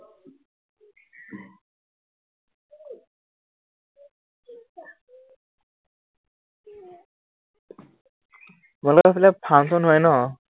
তোমালোকৰ সেইফালে function হয় ন?